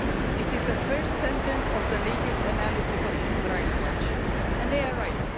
This is the first sentence of the latest analysis of Human Rights Watch and they are right.